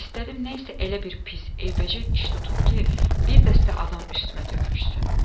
İstədim nəsə elə bir pis eybəcər iş tutum ki, bir dəstə adam üstümə tökülüşsün.